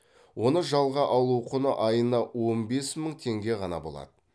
оны жалға алу құны айына он бес мың теңге ғана болады